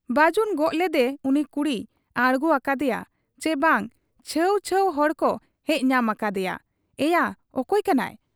ᱵᱟᱹᱡᱩᱱ ᱜᱚᱜ ᱞᱮᱫᱮ ᱩᱱᱤ ᱠᱩᱲᱤᱭ ᱟᱬᱜᱚ ᱟᱠᱟᱫ ᱮᱭᱟ ᱪᱤ ᱵᱟᱝ ᱪᱷᱟᱹᱣ ᱪᱷᱟᱹᱣ ᱦᱚᱲᱠᱚ ᱦᱮᱡ ᱧᱟᱢ ᱟᱠᱟᱫ ᱮᱭᱟ, 'ᱮᱭᱟ ᱚᱠᱚᱭ ᱠᱟᱱᱟᱭ ?